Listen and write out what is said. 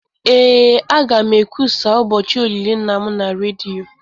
Ee, a ga m ekwusa ụbọchị olili nna m na redio